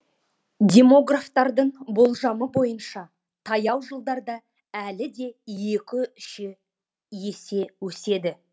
демографтардың болжамы бойынша таяу жылдарда әлі де екі үш есе өседі